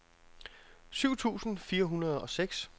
syv tusind fire hundrede og seks